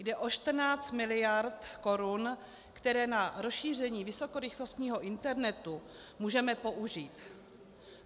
Jde o 14 mld. korun, které na rozšíření vysokorychlostního internetu můžeme použít.